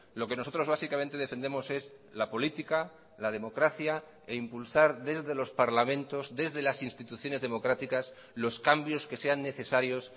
lo que nosotros básicamente defendemos es la política la democracia e impulsar desde los parlamentos desde las instituciones democráticas los cambios que sean necesarios